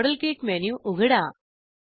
model kit menu उघडा